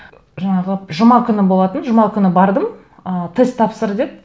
жаңағы жұма күні болатын жұма күні бардым ы тест тапсыр деді